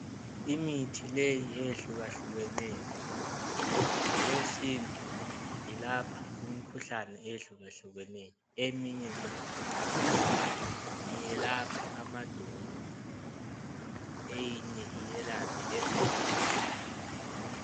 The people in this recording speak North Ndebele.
Imithi leyi eyehluka hlukeneyo ngokwesintu ilapha imikhuhlane ehluka hlukeneyo eminye yakhona iyelapha amadolo eyinye iyelaphe lezinyawo.